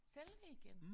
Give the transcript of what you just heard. Sælge det igen